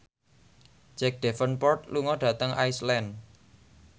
Jack Davenport lunga dhateng Iceland